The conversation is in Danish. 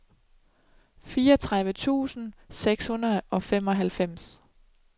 fireogtredive tusind seks hundrede og femoghalvfems